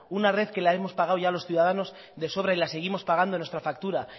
una red que la hemos pagado ya los ciudadanos de sobra y la seguimos pagando en nuestra factura